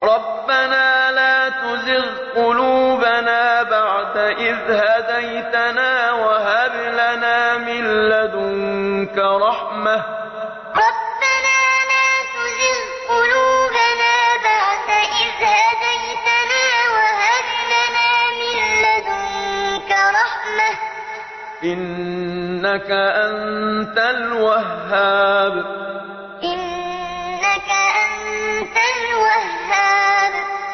رَبَّنَا لَا تُزِغْ قُلُوبَنَا بَعْدَ إِذْ هَدَيْتَنَا وَهَبْ لَنَا مِن لَّدُنكَ رَحْمَةً ۚ إِنَّكَ أَنتَ الْوَهَّابُ رَبَّنَا لَا تُزِغْ قُلُوبَنَا بَعْدَ إِذْ هَدَيْتَنَا وَهَبْ لَنَا مِن لَّدُنكَ رَحْمَةً ۚ إِنَّكَ أَنتَ الْوَهَّابُ